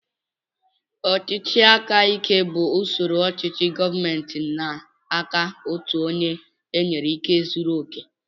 Ọchịchị aka ike bú usoro ochichi gọọmenti n'aka ọtu ónyé enyere ikike zụrụ oké.